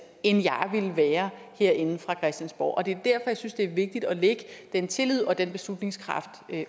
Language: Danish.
end jeg ville være herinde fra christiansborg og det er derfor jeg synes det er vigtigt at lægge den tillid og den beslutningskraft